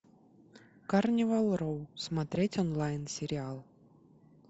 карнивал роу смотреть онлайн сериал